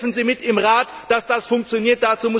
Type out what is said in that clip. Bitte helfen Sie im Rat mit, dass das funktioniert.